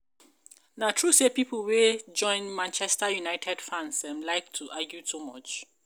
na true say people wey join Manchester um United fans um like um argument too much?